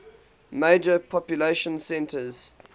major population centers